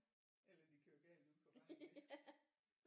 Eller de kører galt uden på vejen der